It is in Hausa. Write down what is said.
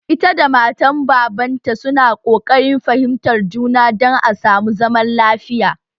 Ita da matan baban ta su na koƙarin fahimtar juna dan a samu zaman lafiya